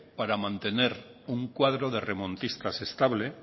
para mantener un cuadro de remontistas estable